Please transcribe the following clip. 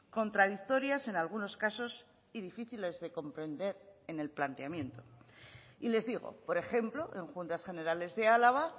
contradictorias en algunos casos y difíciles de comprender en el planteamiento y les digo por ejemplo en juntas generales de álava